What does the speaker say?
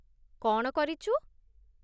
କ'ଣ କରିଚୁ ?